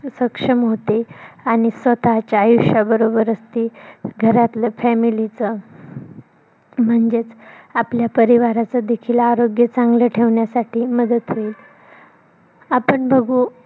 सक्षम होते आणि स्वतःच्या आयुष्य बरोबरच ती घरातल family च म्हणजेच आपल्या परिवाराचं देखील आरोग्य चांगलं ठेवण्यासाठी मदत होईल. आपण बघू